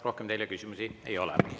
Rohkem teile küsimusi ei ole.